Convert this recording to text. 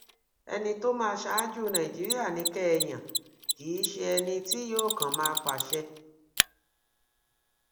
ẹni tó máa ṣáájú nàìjíríà ni kẹ ẹ yàn kì í ṣe ẹni tí yóò kàn máa pàṣẹ